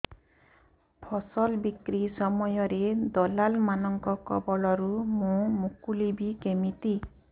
ଫସଲ ବିକ୍ରୀ ସମୟରେ ଦଲାଲ୍ ମାନଙ୍କ କବଳରୁ ମୁଁ ମୁକୁଳିଵି କେମିତି